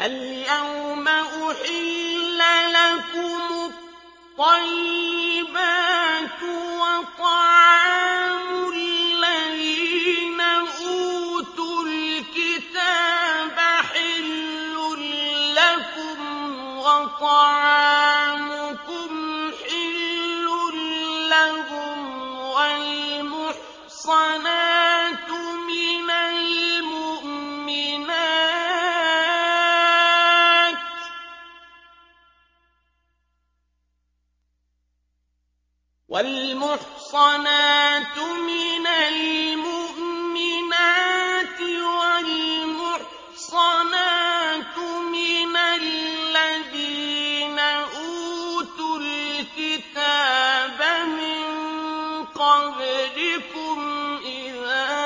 الْيَوْمَ أُحِلَّ لَكُمُ الطَّيِّبَاتُ ۖ وَطَعَامُ الَّذِينَ أُوتُوا الْكِتَابَ حِلٌّ لَّكُمْ وَطَعَامُكُمْ حِلٌّ لَّهُمْ ۖ وَالْمُحْصَنَاتُ مِنَ الْمُؤْمِنَاتِ وَالْمُحْصَنَاتُ مِنَ الَّذِينَ أُوتُوا الْكِتَابَ مِن قَبْلِكُمْ إِذَا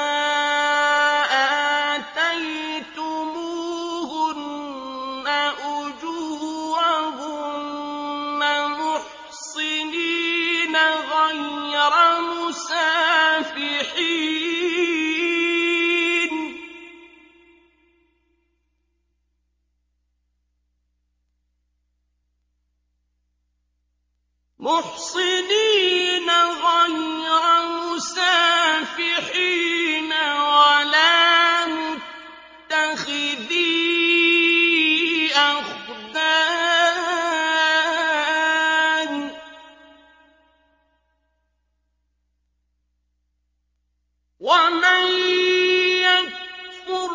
آتَيْتُمُوهُنَّ أُجُورَهُنَّ مُحْصِنِينَ غَيْرَ مُسَافِحِينَ وَلَا مُتَّخِذِي أَخْدَانٍ ۗ وَمَن يَكْفُرْ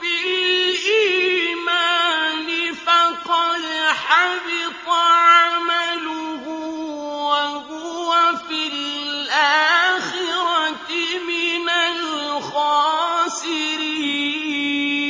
بِالْإِيمَانِ فَقَدْ حَبِطَ عَمَلُهُ وَهُوَ فِي الْآخِرَةِ مِنَ الْخَاسِرِينَ